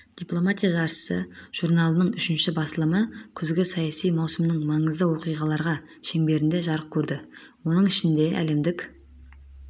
дипломатия жаршысы журналының үшінші басылымы күзгі саяси маусымның маңызды оқиғалар шеңберінде жарық көрді оның ішінде әлемдік